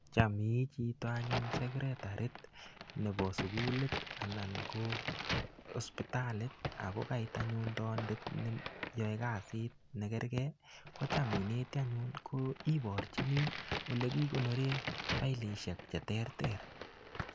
Cham ii chito anyun sekretarit nebo sukulit anan ko hosipitalit, ako kakoit anyun taandet neyae kasit ne keregei, kocham ineti anyun. Ko iborchini ole kikonore failishek che terter.